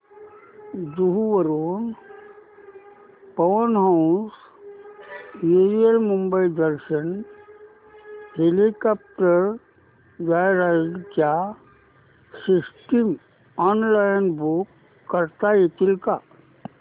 जुहू वरून Pawan Hans aerial Mumbai Darshan helicopter joyride च्या seats online book करता येतील का